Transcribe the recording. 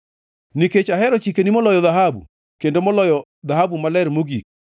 Nikech ahero chikeni moloyo dhahabu, kendo moloyo dhahabu maler mogik,